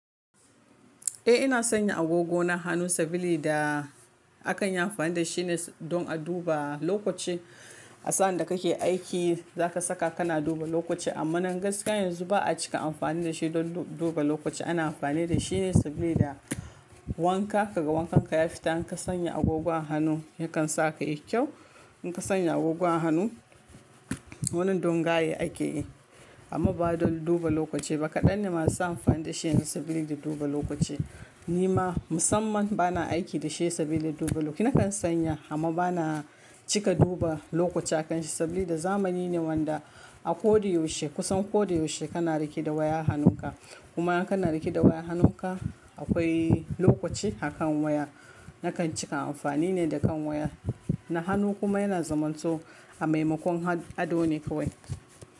Eh ina sanya agogo na hannu sabili da akanyi amfani da shine don a duba lokaci. A sa'anda kake aiki zaka saka kana duba lokaci amma nan gaskiya yanzu ba'a cika amfani da shi don duba lokaci. Ana amfani da shine sabida wanka, ka ga wankan ka ya fita, in ka sanya agogon hannu yakan saka yayi kyau. In ka sanya agogon hannu wannan don gaye akeyi. Amma ba don duba lokaci ba. Kaɗan ne masu amfani da shi yanzu sabida duba lokaci. Ni ma musamman bana aiki da shi saboda duba lokaci. Nakan sanya amma bana cika duba lokaci akanshi saboda zamani ne wanda a kodayaushe kusan kodayaushe kana rike da waya hannunka. Kuma in kana rike da waya hannunka akwai lokaci a kan waya. Nakan cika amfani ne da kan waya. Na hannu kuma yana zaman so a maimakon ado ne kawai.